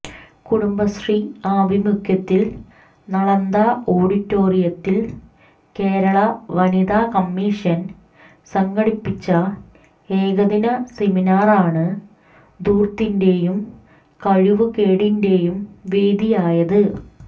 കുടുംബശ്രീ ആഭിമുഖ്യത്തിൽ നളന്ദ ഓഡിറ്റോറിയത്തിൽ കേരള വനിതാ കമ്മീഷൻ സംഘടിപ്പിച്ച ഏകദിന സെമിനാറാണ് ധൂർത്തിന്റെയും കഴിവുകേടിന്റെയും വേദിയായത്